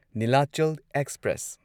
Nilachal express